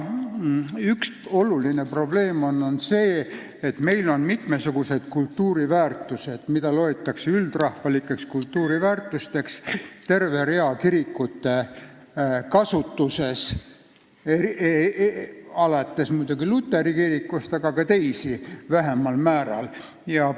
Üks olulisi probleeme on see, et meil on mitmesugused kultuuriväärtused, mida peame üldrahvalikeks kultuuriväärtusteks, kirikute käes ja kasutuses, eeskätt muidugi luteri kiriku, aga vähemal määral ka teiste kasutuses.